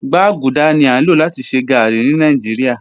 Gbaguda ni a lo lati ṣe garri ni Nigeria